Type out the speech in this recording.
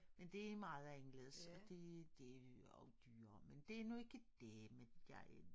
Men de meget anderledes og det det også dyrere men det nu ikke dét men jeg